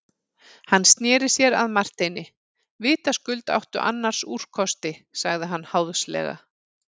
Hann sneri sér að Marteini:-Vitaskuld áttu annars úrkosti, sagði hann háðslega.